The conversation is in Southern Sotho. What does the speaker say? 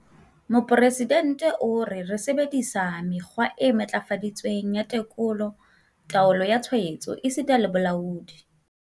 Mopresidente o re- "Re sebedi-sa mekgwa e matlafaditsweng ya tekolo, taolo ya tshwaetso esita le bolaodi."